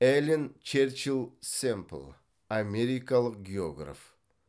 эллен черчилль семпл америкалық географ